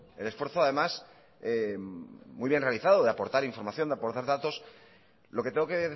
el esfuerzo además muy bien realizado de aportar información de aportar datos lo que tengo que